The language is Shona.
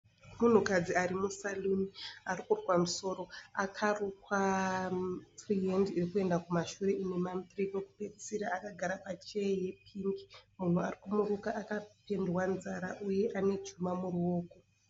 Munhukadzi ari musaruni ari kurukwa musoro . Akarukwa firihandi iri kuenda kumashure ine mamuthree kwekupedzesera. Akagara pacheya yepingi. Munhu ari kumuruka akapendwa nzara ,uye ane chuma muruoko.